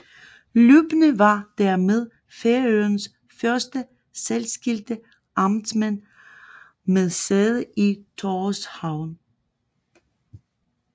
Løbner var dermed Færøernes første særskilte amtmand med sæde i Tórshavn